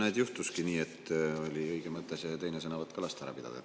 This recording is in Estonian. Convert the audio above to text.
Näed juhtuski nii, et oli õige mõte lasta see teine sõnavõtt ka ära pidada.